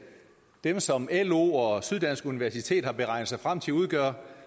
dem som lo og syddansk universitet har beregnet sig frem til udgør